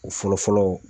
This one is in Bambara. O fɔlɔ fɔlɔ